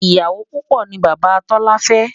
ìyàwó púpò ní bàbá tola fé